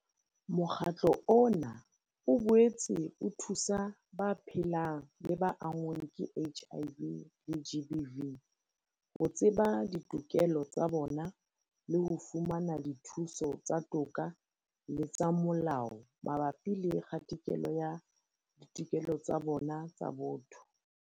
Mokgatlo ona o boetse o thusa ba phelang le ba anngweng ke HIV le GBV ho tseba ditokelo tsa bona le ho fumana dithuso tsa toka le tsa molao mabapi le kgatikelo ya ditokelo tsa bona tsa botho.